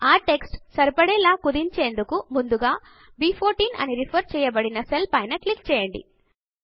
ఆ టెక్స్ట్ సరిపడేలా కుదించేందుకు ముందుగా బ్14 అని రిఫర్ చేయబడిన సెల్ పైన క్లిక్ చేయండి